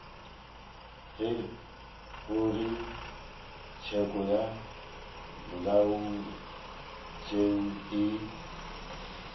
ge kgorotsheko ya molaotheo e